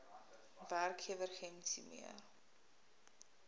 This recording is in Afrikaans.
werkgewer gems hiermee